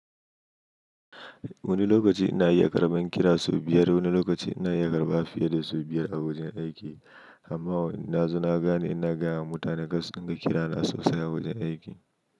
Wani lokaci ina iya karbar kira sau biyar, wani lokaci ina iya karba fiye da sau biyar a wajen aiki. Amma na zo na gane ina gaya wa mutane karsu dinga, kira na sosai a wajen aiki.